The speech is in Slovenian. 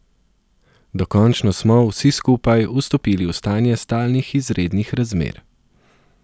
Dokončno smo, vsi skupaj, vstopili v stanje stalnih izrednih razmer.